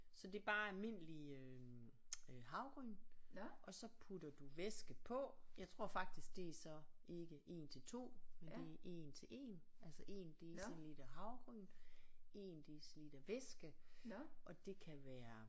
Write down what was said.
Ja så det er bare almindelige øh havregryn og så putter du væske på jeg tror faktisk det er så ikke 1 til 2 men det er 1 til 1 altså 1 deciliter havregryn 1 deciliter væske og det kan være